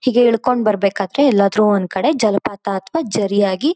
ಹೀಗೆ ಇಳ್ಕೊಂಡು ಬರಬೇಕಾದರೆ ಎಲ್ಲಾದರೂ ಒಂದ್ ಕಡೆ ಜಲಪಾತ ಅಥವಾ ಝರಿಯಾಗಿ --